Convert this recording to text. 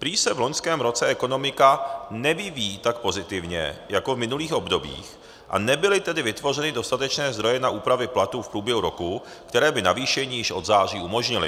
Prý se v loňském roce ekonomika nevyvíjí tak pozitivně jako v minulých obdobích, a nebyly tedy vytvořeny dostatečné zdroje na úpravy platů v průběhu roku, které by navýšení již od září umožnily.